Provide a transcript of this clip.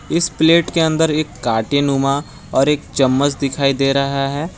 इस प्लेट के अंदर एक काटेनुमा और एक चम्मच दिखाई दे रहा है।